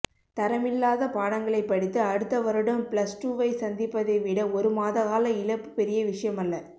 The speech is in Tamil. தரமில்லாத பாடங்களைப் படித்து அடுத்தவருடம் பிளஸ் டூவை சந்திப்பதை விட ஒருமாதகால இழப்பு பெரியவிஷயமல்ல